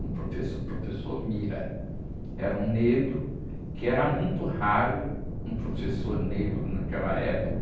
Um professor, o professor, era um negro que era muito raro, um professor negro naquela época,